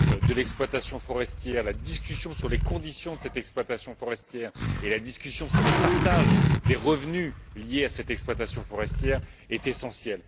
de l'exploitation forestière, dans la discussion sur les conditions de cette exploitation forestière et sur le partage des revenus liés à cette exploitation forestière, est essentiel.